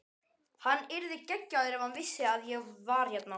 Hann yrði geggjaður ef hann vissi að ég var hérna.